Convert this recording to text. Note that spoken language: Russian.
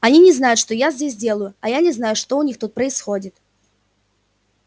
они не знают что я здесь делаю а я не знаю что у них тут происходит